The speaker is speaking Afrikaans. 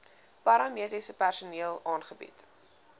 paramediese personeel aangebied